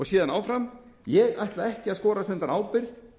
síðan áfram ég ætla ekki að skorast undan ábyrgð